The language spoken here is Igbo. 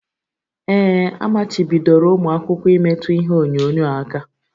Ee, amachibidoro ụmụ akwụkwọ imetụ ihe onyonyo aka